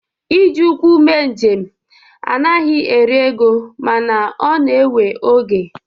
Iji ụkwụ mee njem anaghị eri ego mana ọ na-ewe oge.